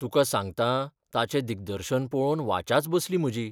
तुका सांगतां ताचें दिग्दर्शन पळोवन वाचाच बसली म्हजी.